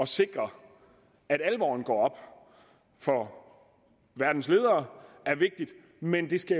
sikre at alvoren går op for verdens ledere er vigtig men det skal